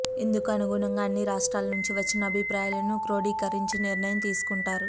ఇందుకు అనుగుణంగా అన్ని రాష్ట్రాల నుంచి వచ్చిన అభిప్రాయాలను క్రోడీకరించి నిర్ణయం తీసుకుంటారు